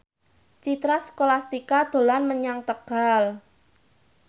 Citra Scholastika dolan menyang Tegal